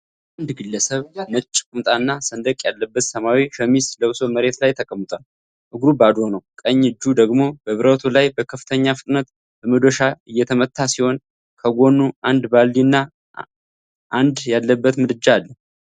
አንድ ግለሰብ ነጭ ቁምጣና ሰንደቅ ያለበት ሰማያዊ ሸሚዝ ለብሶ መሬት ላይ ተቀምጧል። እግሩ ባዶ ነው። ቀኝ እጁ ደግሞ በብረቱ ላይ በከፍተኛ ፍጥነት በመዶሻ እየመታ ሲሆን፣ ከጎኑ አንድ ባልዲ እና አመድ ያለበት ምድጃ አለ።